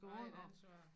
Der er et ansvar